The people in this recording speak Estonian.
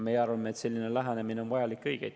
Meie arvame, et selline lähenemine on vajalik ja õige.